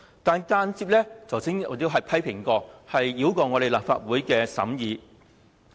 我剛才曾作出批評，這項安排間接繞過立法會審議。